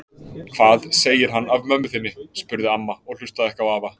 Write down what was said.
Hvað segir hann af mömmu þinni? spurði amma og hlustaði ekki á afa.